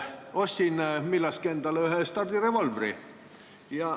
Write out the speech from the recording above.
Millalgi ostsin endale ühe stardirevolvri.